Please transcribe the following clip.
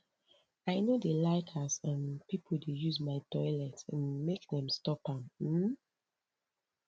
i no dey like as um pipo dey use my toilet um make dem stop am um